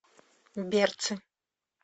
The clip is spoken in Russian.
берцы